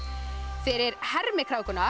fyrir